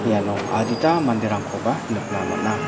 iano adita manderangkoba nikna man·a.